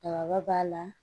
Bakɔrɔba b'a la